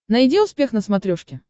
найди успех на смотрешке